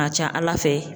A ka ca ala fɛ